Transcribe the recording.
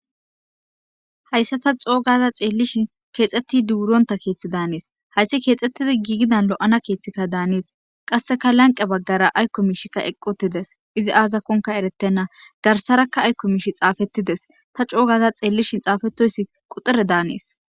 Hayssa ta coogaza xeellishin keexxetti duuronta keeththi daanees hayssi keexxettidi giigidan lo'ana keeththikka daanees qasseka lanqe baggara aykko miishikka eqqotides izi aazakonka eretenna garsarakka aykko miishi xaafettides ta coogaza xeellishin xaafetoyssi quxere daanees.